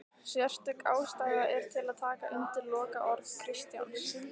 Sérstök ástæða er til að taka undir lokaorð Kristjáns